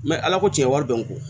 ala ko tiɲɛ wari bɛ n kun